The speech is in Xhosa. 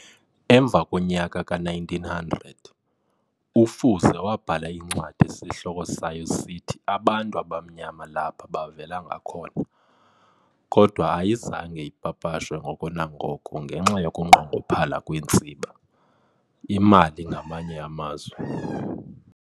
Emva komnyaka ka-1900 "uFuze" wabhala incwadi esihloko sayo sithi "Abantu Abamnyama Lapa Bavela Ngakhona.". Kodwa ayizange ipapashwe ngoko nangoko ngenxa yokunqongophala kweentsiba, imali ke ngamanye amazwi."